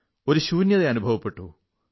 ഒരു ശൂന്യത അനുഭവപ്പെട്ടു